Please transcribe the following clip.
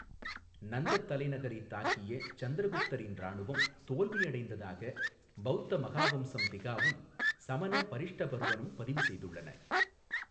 நந்தத் தலைநகரைத் தாக்கிய சந்திரகுப்தரின் இராணுவம் தோல்வியடைந்ததாக பௌத்த மகாவம்சம் திகாவும் சமண பரிஷ்டபர்வனும் பதிவு செய்துள்ளன.